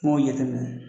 N m'o jateminɛ